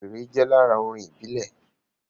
Wéré jẹ́ lára orin ìbílẹ̀